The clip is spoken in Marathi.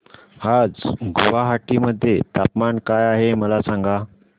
आज गुवाहाटी मध्ये तापमान काय आहे मला सांगा